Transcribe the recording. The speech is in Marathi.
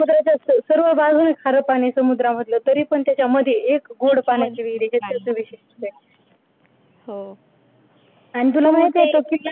सर्व बाजूंनी खारे पाणी समुद्र मधलं तरी पण त्याच्यामध्ये एक गोड पाण्याची विहीर आहे ते त्याचं वैशिष्ट्य आहे हो आणि तुला माहिती आहे का